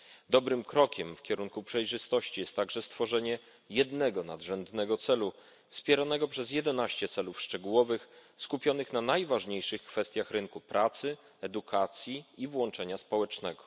Dobrym krokiem w kierunku przejrzystości jest także stworzenie jednego nadrzędnego celu wspieranego przez 11 celów szczegółowych skupionych na najważniejszych kwestiach rynku pracy, edukacji i włączenia społecznego.